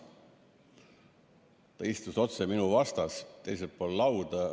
Ta istus otse minu vastas, teisel pool lauda.